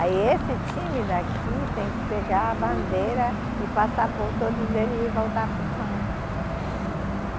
Aí esse time daqui tem que pegar a bandeira e passar por todos eles e voltar para o campo.